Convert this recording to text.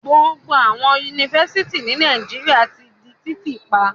Gbogbo àwọn Yunifásitì ní Nàìjíríà ti di títí pa.